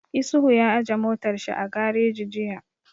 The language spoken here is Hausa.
Isuhu ya aje motar shi a gareji jiya